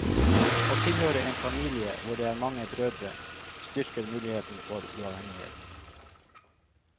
Å tilhøre en familie hvor det er mange brødre styrker muligheten for uavhengighet.